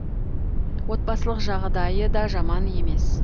отбасылық жағдайы да жаман емес